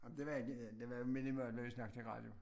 Nej men det var det er jo minimalt at vi snak til radio